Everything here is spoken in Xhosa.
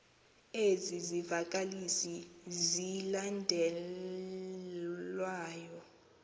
ezi zivakalisi zilandelayo